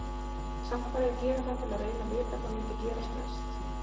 Samt varð ég að gera það til að reyna að vita hvað myndi gerast næst.